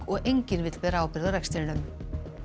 og enginn vill bera ábyrgð á rekstrinum